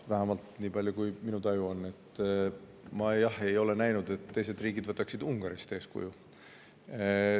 Vähemalt nii palju, kui mina tajun, siis ma ei ole näinud, et teised riigid võtaksid Ungarist eeskuju.